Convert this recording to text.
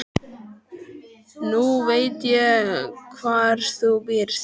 Nú veit ég hvar þú býrð.